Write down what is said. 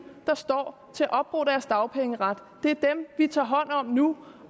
står til at opbruge deres dagpengeret det er dem vi tager hånd om nu